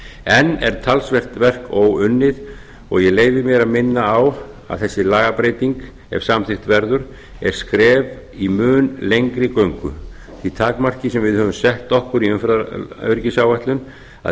enn er talsvert verk óunnið og ég leyfi mér að minna á að þessi lagabreyting ef samþykkt verður er skref í mun lengri göngu því takmarki sem við höfum sett okkur í umferðaröryggisáætlun að